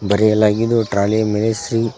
ಬರೆಯಲಾಗಿದ್ದು trolley ಯ ಮೇಲೆ ಶ್ರೀ--